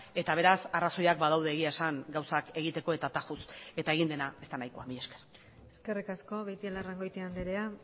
eta beraz arrazoiak badaude egia esan gauzak egiteko eta tajuz eta egin dena ez da nahikoa mila esker eskerrik asko beitialarrangoitia andrea